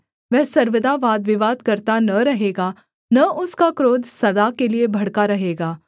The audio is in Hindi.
वह सर्वदा वादविवाद करता न रहेगा न उसका क्रोध सदा के लिये भड़का रहेगा